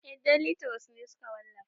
Eh deli turos ne suka wallafa